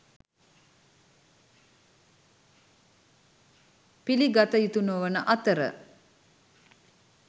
පිළිගත යුතු නොවන අතර